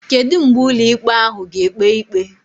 kedu mgbe ụlọ ikpe ahụ ga ekpe ikpe?